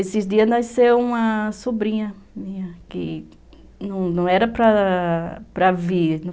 Esses dias nasceu uma sobrinha minha, que não era para ela para vir.